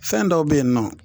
Fɛn dɔw be yen nɔ